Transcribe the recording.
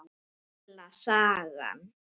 Gamla sagan.